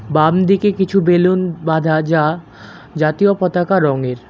বামদিকে কিছু বেলুন বাঁধা যা জাতীয় পতাকা রঙের।